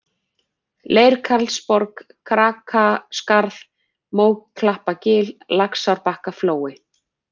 Leirkarlsborg, Krakaskarð, Móklappagil, Laxárbakkaflói